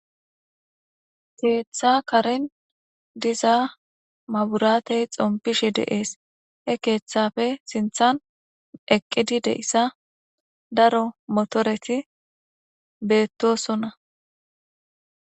Keeththa karin diza maburaatey xompishe deees he keeththafe sinthan eqqidi deissa daro motoreti beettosona.